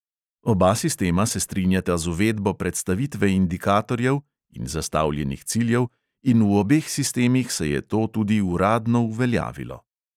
Oba sistema se strinjata z uvedbo predstavitve indikatorjev (in zastavljenih ciljev) in v obeh sistemih se je to tudi uradno uveljavilo.